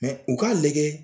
u ka lajɛ.